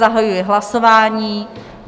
Zahajuji hlasování.